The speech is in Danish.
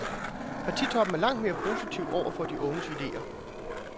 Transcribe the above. Partitoppen er langt mere positiv over for de unges idéer.